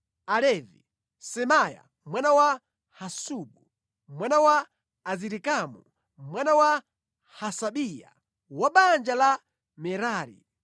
Alevi: Semaya mwana wa Hasubu, mwana wa Azirikamu, mwana wa Hasabiya, wa mʼbanja la Merari;